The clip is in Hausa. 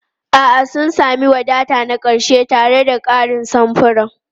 A'a, sun sami wadata na ƙarshe tare da ƙarin samfuran.